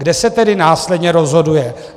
Kde se tedy následně rozhoduje?